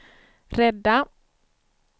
rädda